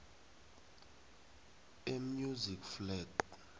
e music flat